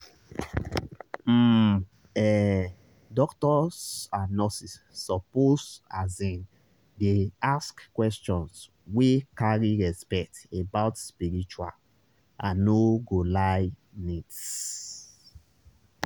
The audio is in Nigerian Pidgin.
um ehh doctors and nurses suppose asin dey ask questions wey carry respect about spiritual i no go lie needs.